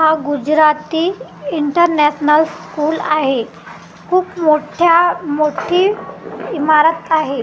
हा Gujarati international school आहे खूप मोठ्या मोठी इमारत आहे .